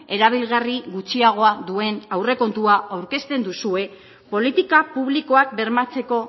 erabilgarri gutxiagoa duen aurrekontua aurkezten duzue politika publikoak bermatzeko